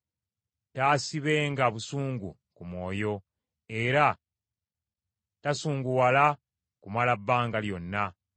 Taasibenga busungu ku mwoyo, era tasunguwala kumala bbanga lyonna.